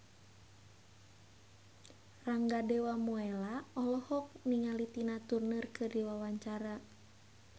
Rangga Dewamoela olohok ningali Tina Turner keur diwawancara